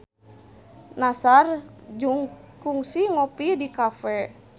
Nassar kungsi ngopi di cafe